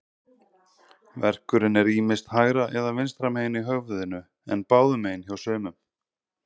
Verkurinn er ýmist hægra eða vinstra megin í höfðinu, en báðum megin hjá sumum.